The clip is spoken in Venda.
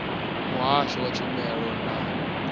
muhasho wa tshumelo na ndangulo